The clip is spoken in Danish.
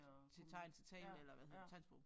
Til tegn til tale eller hvad hedder det tegnsprog